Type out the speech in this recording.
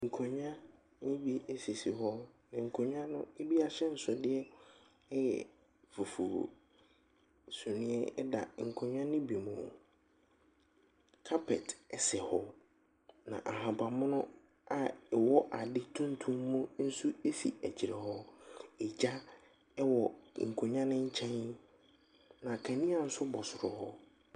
Nkonnwa bi sisi hɔ. Nkonnwa no ebi ahyɛnsodeɛ yɛ fufuo. Sumiiɛ da nkonnwa no bi mu. Carpet sɛ hɔ, na ahaban mono a ɛwɔ ade tuntum mu nso si akyire hɔ. Egya wɔ nkonnwa no nkyɛn, na kanea nso bɔ soro hɔ.